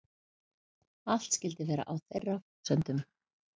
Allt skyldi vera á þeirra forsendum